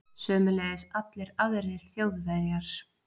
Sömuleiðis allir aðrir Þjóðverjar.